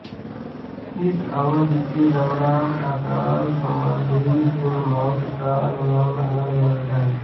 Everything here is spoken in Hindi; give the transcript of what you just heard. इस अवधि के दौरान अकाल संबंधी कुल मौतों का अनुमान अलगअलग है